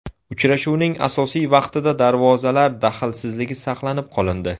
Uchrashuvning asosiy vaqtida darvozalar daxlsizligi saqlanib qolindi.